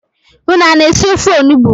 Unu ana-esi ofe onugbui?